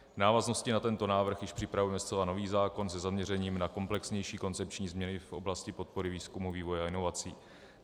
V návaznosti na tento návrh již připravujeme zcela nový zákon se zaměřením na komplexnější koncepční změny v oblasti podpory výzkumu, vývoje a inovací.